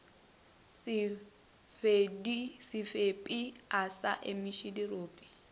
sebepi a sa emiše dirope